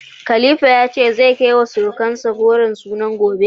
Khalifa ya ce, zai kai wa sirukansa ragon sunan gobe.